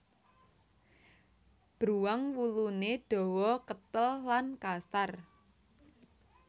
Bruwang wuluné dawa ketel lan kasar